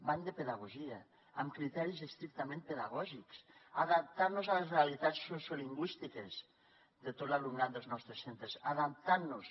van de pedagogia amb criteris estrictament pedagò gics adaptant nos a les realitats sociolingüístiques de tot l’alumnat dels nostres centres adaptant nos